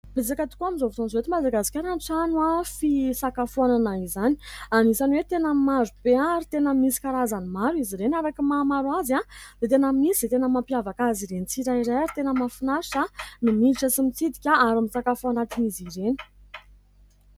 Betsaka tokoa amin'izao fotoan'izao eto Madagasikara ny trano fisakafoanana izany. Anisany hoe tena marobe ary tena misy karazany maro izy ireny. Araka ny mahamaro azy dia tena misy izay tena mampiavaka azy ireny tsirairay ; ary tena mahafinaritra ny miditra sy mitsidika ary misakafo ao anatin'izy ireny.